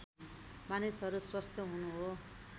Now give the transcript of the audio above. मानिसहरू स्वस्थ हुनु हो